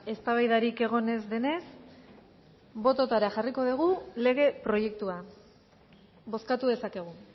eztabaidarik egon ez denez bototara jarriko dugu lege proiektua bozkatu dezakegu